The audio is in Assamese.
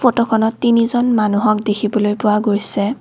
ফটোখনত তিনিজন মানুহক দেখিবলৈ পোৱা গৈছে।